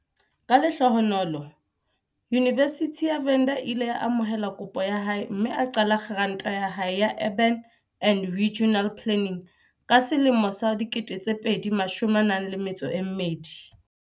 Ka lehlohonolo Yunivesithi ya Venda e ile ya amohela kopo ya hae mme a qala grata ya hae ya Urban and Regional Planning ka selemo sa 2012.